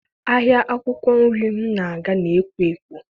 Ahịa akwụkwọ nri m na-aga na-ekwo ekwo.